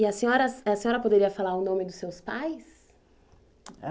E a senhora, a senhora poderia falar o nome dos seus pais?